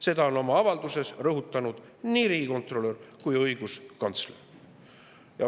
Seda on oma avalduses rõhutanud nii riigikontrolör kui ka õiguskantsler.